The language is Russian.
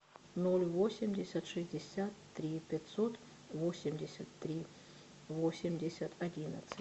ноль восемьдесят шестьдесят три пятьсот восемьдесят три восемьдесят одиннадцать